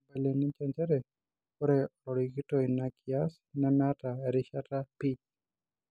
Neibalie ninje njere ore olarikito ina kias nemeta erishata pii.